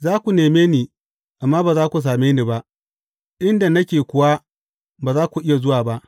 Za ku neme ni, amma ba za ku same ni ba; inda nake kuwa, ba za ku iya zuwa ba.